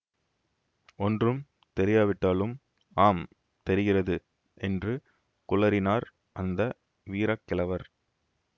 ஒன்றும் தெரியாவிட்டாலும் ஆம் தெரிகிறது என்று குழறினார் அந்த வீரக்கிழவர்